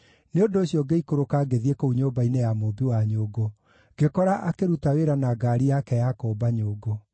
Nĩ ũndũ ũcio ngĩikũrũka ngĩthiĩ kũu nyũmba-inĩ ya mũũmbi wa nyũngũ, ngĩkora akĩruta wĩra na ngaari yake ya kũũmba nyũngũ.